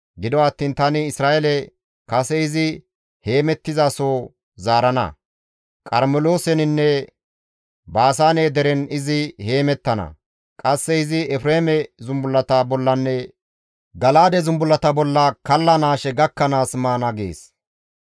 Gido attiin tani Isra7eele kase izi heemettizaso iza zaarana; Qarmelooseninne Baasaane deren izi heemettana; qasse izi Efreeme zumbullata bollanne Gala7aade zumbullata bolla kallanaashe gakkanaas maana» gees.